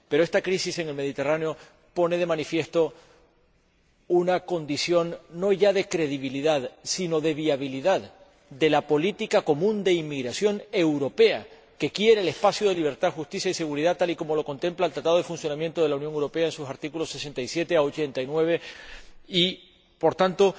Pero esta crisis en el Mediterráneo pone de manifiesto una condición no ya de credibilidad sino de viabilidad de la política común de inmigración europea, que quiere el espacio de libertad, justicia y seguridad, tal y como lo contempla el Tratado de Funcionamiento de la Unión Europea en sus artículos 67 a 89 y, por tanto,